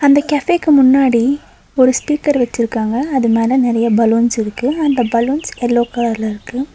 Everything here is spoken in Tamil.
அந்த கேஃபேக்கு முன்னாடி ஒரு ஸ்பீக்கர் வச்சிருக்காங்க அது மேல நறைய பலூன்ஸ் இருக்கு அந்த பலூன்ஸ் எல்லோ கலர்ல இருக்கு.